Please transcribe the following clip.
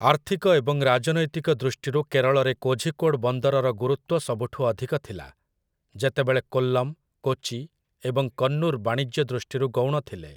ଆର୍ଥିକ ଏବଂ ରାଜନୈତିକ ଦୃଷ୍ଟିରୁ କେରଳରେ କୋଝିକୋଡ଼୍ ବନ୍ଦରର ଗୁରୁତ୍ୱ ସବୁଠୁ ଅଧିକ ଥିଲା, ଯେତେବେଳେ କୋଲ୍ଲମ୍, କୋଚି ଏବଂ କନ୍ନୁର୍ ବାଣିଜ୍ୟ ଦୃଷ୍ଟିରୁ ଗୌଣ ଥିଲେ ।